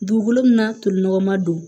Dugukolo min n'a toli nɔgɔnma don